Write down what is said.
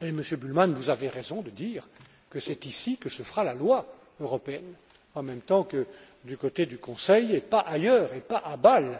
et, Monsieur Bullmann, vous avez raison de dire que c'est ici que se fera la loi européenne, en même temps que du côté du Conseil, et pas ailleurs, et pas à Bâle.